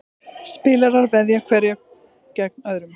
Spilarar veðja hverjir gegn öðrum.